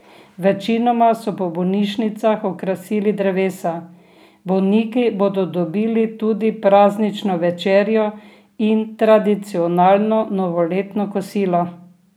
Večinoma so po bolnišnicah okrasili drevesa, bolniki bodo dobili tudi praznično večerjo in tradicionalno novoletno kosilo.